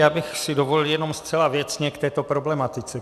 Já bych si dovolil jenom zcela věcně k této problematice.